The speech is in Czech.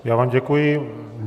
Já vám děkuji.